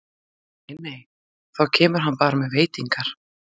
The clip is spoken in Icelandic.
Nei, nei, þá kemur hann bara með veitingar!